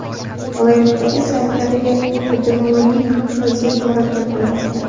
Viloyatdagi sanitariya epidemiologik vaziyat murakkab bo‘lib qolmoqda.